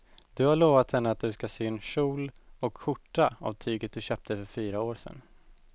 Du har lovat henne att du ska sy en kjol och skjorta av tyget du köpte för fyra år sedan.